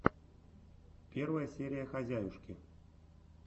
первая серия хозяюшки